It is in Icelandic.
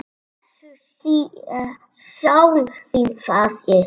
Blessuð sé sál þín, faðir